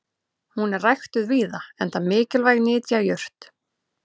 hún er ræktuð víða enda mikilvæg nytjajurt